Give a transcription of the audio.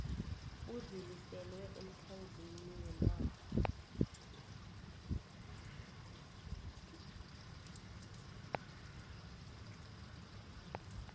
udluliselwe emkhandlwini wenarha